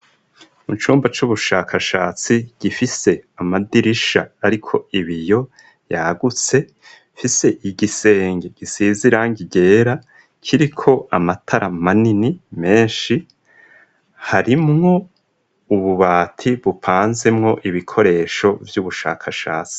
Mu cumba c'ubushakashatsi gifise amadirisha ariko ibiyo yagutse, gifise igisenge gisize irangi ryera kiriko amatara manini menshi harimwo ububati bupanzemwo ibikoresho vy'ubushakashatsi.